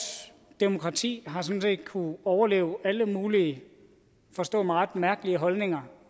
demokrati har sådan set kunnet overleve alle mulige forstå mig ret mærkelige holdninger